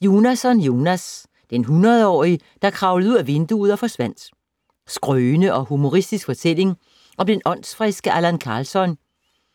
Jonasson, Jonas: Den hundredårige der kravlede ud ad vinduet og forsvandt Skrøne og humoristisk fortælling om den åndsfriske Allan Karlsson